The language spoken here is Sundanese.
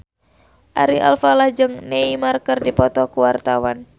Ari Alfalah jeung Neymar keur dipoto ku wartawan